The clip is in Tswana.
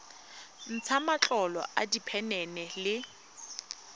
ntsha matlolo a diphenene le